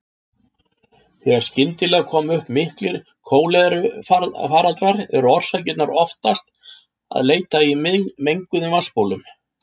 Þegar skyndilega koma upp miklir kólerufaraldrar er orsakarinnar oftast að leita í menguðum vatnsbólum.